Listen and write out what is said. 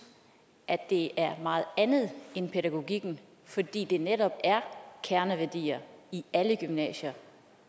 at det er meget andet end pædagogikken fordi det netop er kerneværdier i alle gymnasier